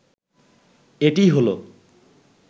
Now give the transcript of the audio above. এটিই হলো